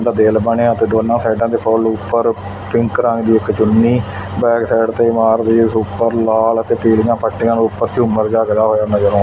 ਦਾ ਦਿੱਲ ਬਣਿਆ ਤੇ ਦੋਨਾਂ ਸਾਈਡਾਂ ਤੇ ਫੁੱਲ ਉਪਰ ਪਿੰਕ ਰੰਗ ਦੀ ਇਕ ਚੁੰਨੀ ਬੈਕਸਾਈਡ ਤੇ ਉਪਰ ਲਾਲ ਅਤੇ ਪੀਲੀਆਂ ਪੱਟੀਆਂ ਦੇ ਊਪਰ ਝੂੰਮਰ ਜੱਗ ਦਾ ਹੋਇਆ ਨਜ਼ਰ--